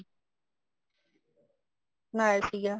ਬਣਾਇਆ ਸੀਗਾ